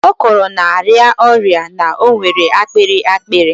Ọ kọrọ na-arịa ọrịa, na o nwere akpịrị akpịrị.